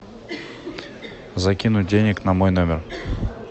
закинуть денег на мой номер